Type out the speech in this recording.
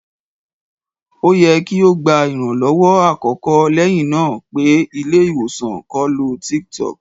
O yẹ ki o gba iranlọwọ akọkọ lẹhinna pe ile-iwosan ko lo tiktok